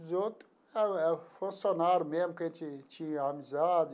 Os outros era era funcionário mesmo que a gente tinha amizade,